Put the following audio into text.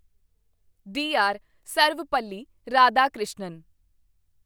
D R. Sarvepalli Radhakrishnan